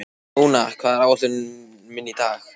Móna, hvað er á áætluninni minni í dag?